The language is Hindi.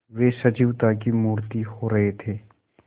वे सजीवता की मूर्ति हो रहे थे